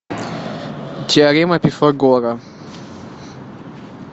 теорема пифагора